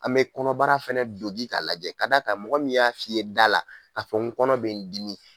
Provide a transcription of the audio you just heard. A bɛ kɔnɔbara fana dogin k'a lajɛ ka d'a kan mɔgɔ min y'a f'i ye da la ka fɔ n kɔnɔ bɛ n dimi